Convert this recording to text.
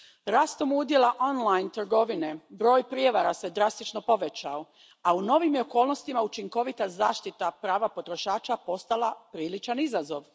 Rastom udjela online trgovine broj prijevara se drastično povećao, a u novim je okolnostima učinkovita zaštita prava potrošača postala priličan izazov.